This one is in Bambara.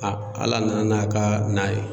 Ala nana n'a ka na ye